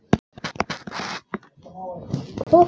Hvort hann nennti.